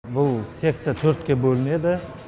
бұл секция төртке бөлінеді